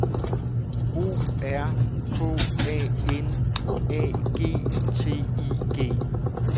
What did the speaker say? O R K A N A G T I G